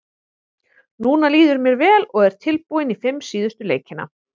Núna líður mér vel og er tilbúinn í fimm síðustu leikina.